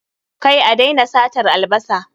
Kai, a daina satar albasa